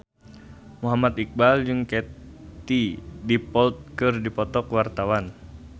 Muhammad Iqbal jeung Katie Dippold keur dipoto ku wartawan